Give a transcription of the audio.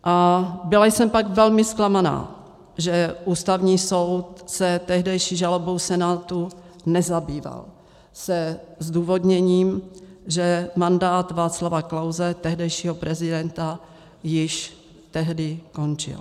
A byla jsem pak velmi zklamaná, že Ústavní soud se tehdejší žalobou Senátu nezabýval se zdůvodněním, že mandát Václava Klause, tehdejšího prezidenta, již tehdy končil.